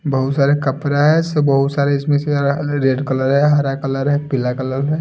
बहुत सारे कपड़ा है से बहुत सारे इसमें से रेड कलर है हरा कलर है पीला कलर है।